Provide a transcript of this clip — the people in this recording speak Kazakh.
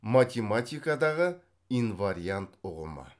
математикадағы инвариант ұғымы